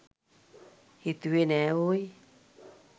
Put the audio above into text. හිතුවෙ නෑ ඕයි